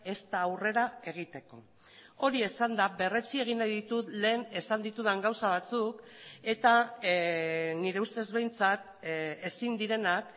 ezta aurrera egiteko hori esanda berretsi egin nahi ditut lehen esan ditudan gauza batzuk eta nire ustez behintzat ezin direnak